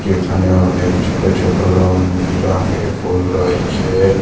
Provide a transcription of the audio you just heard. এখানে অনেক ছোট ছোট রং বিরঙের ফুল রয়েছে।